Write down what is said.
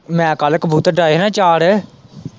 ਮੈਂ ਕੱਲ ਕਬੂਤਰ ਡਾਏ ਹੀ ਨਾ ਚਾਰ।